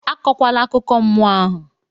Akọkwala akụkọ mmụọ ahụ!